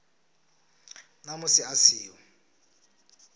na musi a si ho